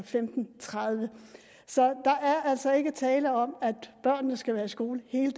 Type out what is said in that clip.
femten tredive så der er altså ikke tale om at børnene skal være i skole hele